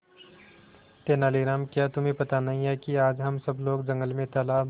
तेनालीराम क्या तुम्हें पता नहीं है कि आज हम सब लोग जंगल में तालाब